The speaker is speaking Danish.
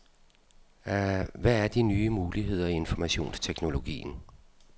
Hvad er de nye muligheder i informationsteknologien.